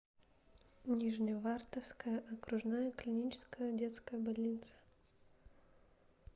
нижневартовская окружная клиническая детская больница